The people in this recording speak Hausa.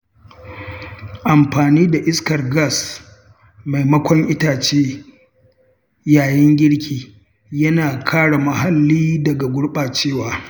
Amfani da iskar gas maimakon itace yayin girki yana kare muhalli daga gurɓacewa.